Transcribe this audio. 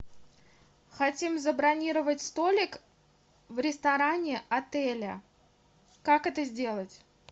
хотим забронировать столик в ресторане отеля как это сделать